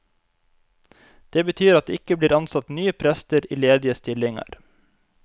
Det betyr at det ikke blir ansatt nye prester i ledige stillinger.